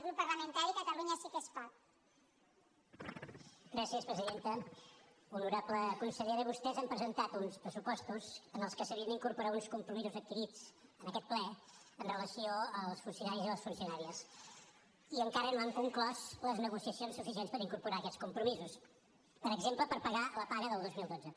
honorable consellera vostès han presentat uns pressupostos en els quals s’havien d’incorporar uns compromisos adquirits en aquest ple amb relació als funcionaris i les funcionàries i encara no han conclòs les negociacions suficients per incorporar aquests compromisos per exemple per pagar la paga del dos mil dotze